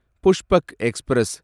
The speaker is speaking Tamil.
புஷ்பக் எக்ஸ்பிரஸ்